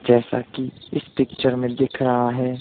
जैसा कि इस पिक्चर में दिख रहा है।